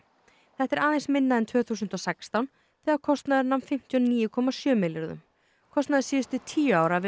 þetta er aðeins minna en tvö þúsund og sextán þegar kostnaður nam fimmtíu og níu komma sjö milljörðum kostnaður síðustu tíu ára við